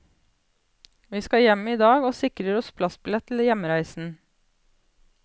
Vi skal hjem i dag og sikrer oss plassbillett til hjemreisen.